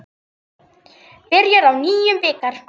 Byrjar á nýjum bikar.